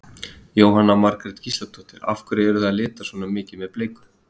Jóhanna Margrét Gísladóttir: Af hverju eruð þið að lita svona mikið með bleiku?